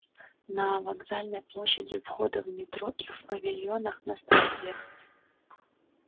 на вокзальной площади у входа в метро в павильонах на станциях